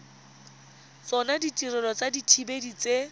tsona ditirelo tsa dithibedi tse